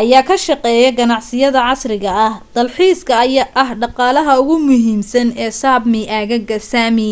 ayaa ka shaqeeya ganacsiyada casriga ah. dalxiiska ayaa ah dhaqaalaha ugu muhiimsan ee sapmi, aagaga sami